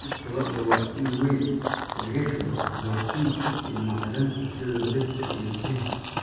Hilibka lo'da waa il weyn oo laga helo borotiinka iyo macdanta sida birta iyo zinc.